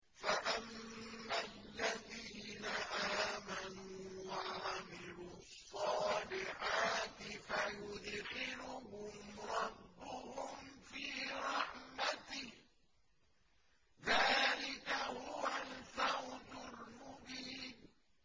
فَأَمَّا الَّذِينَ آمَنُوا وَعَمِلُوا الصَّالِحَاتِ فَيُدْخِلُهُمْ رَبُّهُمْ فِي رَحْمَتِهِ ۚ ذَٰلِكَ هُوَ الْفَوْزُ الْمُبِينُ